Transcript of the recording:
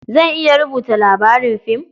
Zan iya rubuta labarin fim.